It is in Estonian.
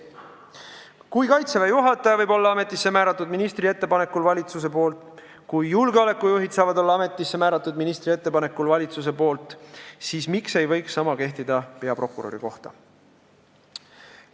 Kui Kaitseväe juhataja võib olla ametisse määratud valitsuse poolt ministri ettepanekul, kui julgeolekujuhid võivad olla ametisse määratud valitsuse poolt ministri ettepanekul, siis miks ei võiks sama kehtida peaprokuröri kohta?